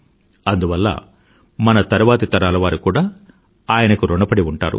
అందువల్ల మన తరువాతి తరాల వారు కూడా ఆయనకు ఋణపడి ఉంటారు